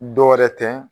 Dɔ wɛrɛ tɛ